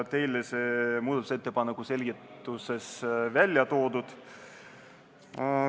Teile on see muudatusettepaneku selgituses välja toodud.